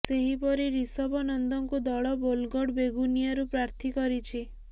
ସେହିପରି ରିଷଭ ନନ୍ଦଙ୍କୁ ଦଳ ବୋଲଗଡ ବେଗୁନିଆରୁ ପ୍ରାର୍ଥୀ କରିଛି